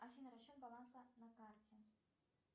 афина счет баланса на карте